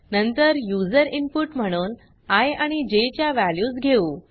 नंतर user input म्हणून I आणि जे च्या वॅल्यूज घेऊ